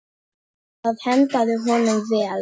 Það hentaði honum vel.